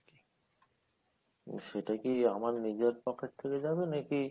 সেটা কি আমার নিজের pocket থেকে যাবে নাকি?